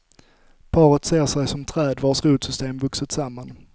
Paret ser sig som träd vars rotsystem vuxit samman.